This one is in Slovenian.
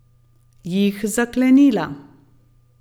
Jih zaklenila.